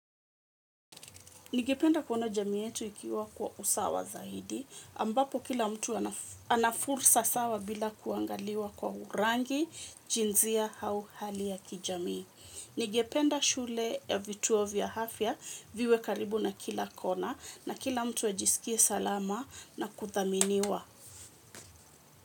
Ningependa kuona jamii yetu ikiwa kwa usawa zaidi, ambapo kila mtu anafursa sawa bila kuangaliwa kwa rangi, jinzia, hau hali ya kijamii. Nigependa shule ya vituo vya hafya, viwe karibu na kila kona, na kila mtu ajiskie salama na kuthaminiwa.